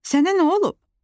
Sənə nə olub?